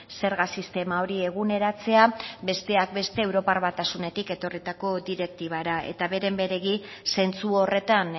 zerga sistema hori eguneratzea besteak beste europar batasunetik etorritako direktibara eta beren beregi zentzu horretan